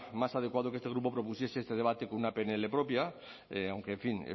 más adecuado que este grupo propusiese este debate con una pnl propia aunque en fin